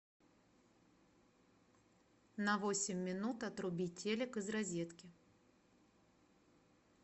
на восемь минут отруби телек из розетки